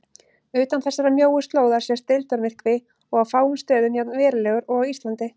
Utan þessarar mjóu slóðar sést deildarmyrkvi og á fáum stöðum jafn verulegur og á Íslandi.